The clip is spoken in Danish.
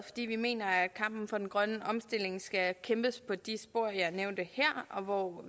fordi vi mener at kampen for den grønne omstilling skal kæmpes på de spor jeg har nævnt her og hvor